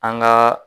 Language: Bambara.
An ka